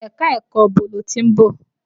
Ẹ̀ka-ẹ̀kọ ibo lo ti ń bọ̀?